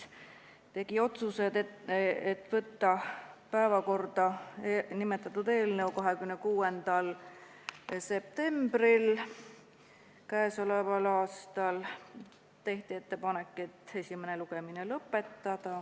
Tehti ettepanek võtta nimetatud eelnõu päevakorda 26. septembril k.a ja esimene lugemine lõpetada.